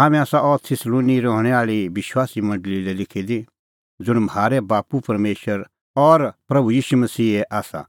हाम्हैं आसा अह थिस्सलुनी रहणैं आल़ी विश्वासीए मंडल़ी लै लिखी दी ज़ुंण म्हारै बाप्पू परमेशर और प्रभू ईशू मसीहे आसा